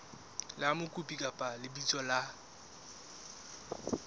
la mokopi kapa lebitso la